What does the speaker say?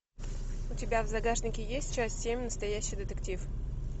у тебя в загашнике есть часть семь настоящий детектив